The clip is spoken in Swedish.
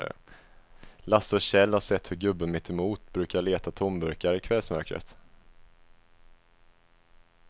Lasse och Kjell har sett hur gubben mittemot brukar leta tomburkar i kvällsmörkret.